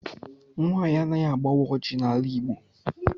Nwaanyị anaghị agbawa ọjị n'ala Igbo.